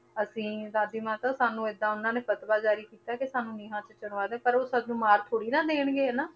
ਅਸੀਂ ਦਾਦੀ ਮਾਤਾ ਸਾਨੂੰ ਏਦਾਂ ਉਹਨਾਂ ਨੇ ਫਤਵਾ ਜ਼ਾਰੀ ਕੀਤਾ ਕਿ ਸਾਨੂੰ ਨੀਹਾਂ 'ਚ ਚਿਣਵਾ ਦ~ ਪਰ ਉਹ ਸਾਨੂੰ ਮਾਰ ਥੋੜ੍ਹੀ ਨਾ ਦੇਣਗੇ ਹਨਾ,